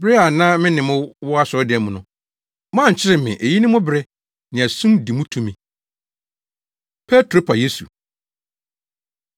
Bere a na me ne mo wɔ asɔredan mu no, moankyere me; eyi ne mo bere; nea sum di mu tumi.” Petro Pa Yesu